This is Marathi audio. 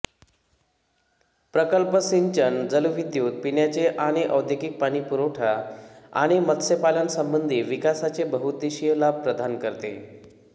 प्रकल्प सिंचन जलविद्युत पिण्याचे आणि औद्योगिक पाणीपुरवठा आणि मत्स्यपालनासंबंधी विकासाचे बहुउद्देशीय लाभ प्रदान करते